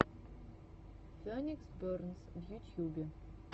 феникс бернс в ютьюбе